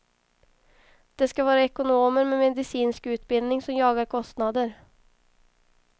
Det ska vara ekonomer med medicinsk utbildning som jagar kostnader.